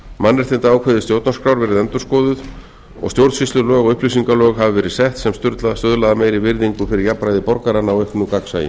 mannréttindaákvæði stjórnarskrár verið endurskoðuð og stjórnsýslulög og upplýsingalög hafa verið sett sem stuðla að meiri virðingu fyrir jafnræði borgaranna og auknu gagnsæi